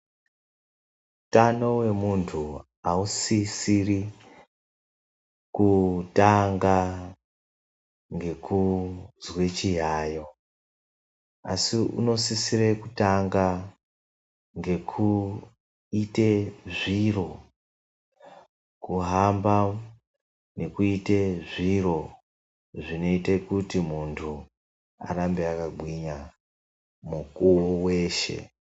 Utano wemunthu ausisiri kutanga ngekuzwa chiyayo, asi unosisire kutanga ngekuite zviro kuhamba nekuite zviro zvinoita kuti munthu arambe akagwinya mukuwo weshe.